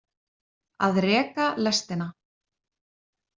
Að reka lestina